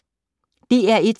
DR1